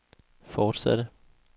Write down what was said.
fortsatte